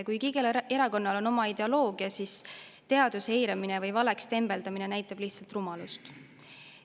Kuigi igal erakonnal on oma ideoloogia, siis teaduse eiramine või valeks tembeldamine näitab lihtsalt rumalust.